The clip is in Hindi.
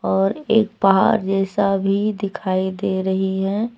और एक पहाड़ जैसा भी दिखाई दे रही है।